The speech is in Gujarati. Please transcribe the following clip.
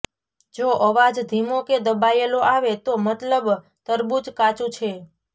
જો અવાજ ધીમો કે દબાયેલો આવે તો મતલબ તરબૂચ કાચુ છે